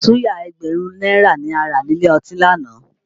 Suya ẹgbẹ̀rún náírà ni a rà nílé ọtí lánàá